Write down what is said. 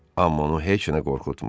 Amma onu heç nə qorxutmurdu.